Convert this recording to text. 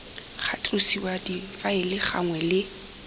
ga tlosiwa difaele gangwe le